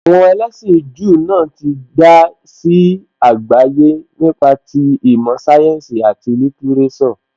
Àwọn ẹlẹ́sìn Júù náà tí dá sí àgbáyé nípa ti ìmọ̀ sáyẹ́ǹsì, àti lítíréṣọ̀.